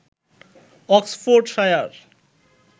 Oxfordshire